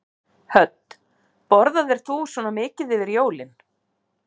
Hödd: Borðaðir þú svona mikið yfir jólin?